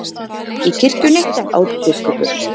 Í kirkjunni, át biskup upp.